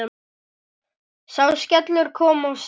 Sá skellur kom of seint.